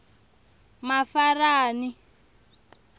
mafarani